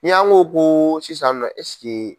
Ni an ko ko sisan nɔ ɛsike